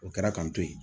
O kɛra k'an to yen